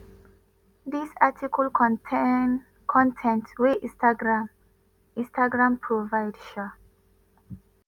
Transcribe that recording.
dis article contain con ten t wey instagram instagram provide. um